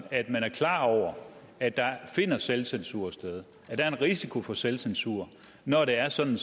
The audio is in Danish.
at man er klar over at der finder selvcensur sted at der er en risiko for selvcensur når det er sådan